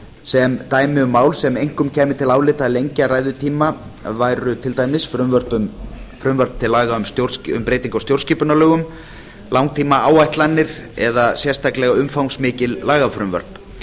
sem dæmi um mál sem einkum kæmi til álita að lengja ræðutíma í væru frumvörp til laga um breytingar á stjórnskipunarlögum langtímaáætlanir eða sérstaklega umfangsmikil lagafrumvörp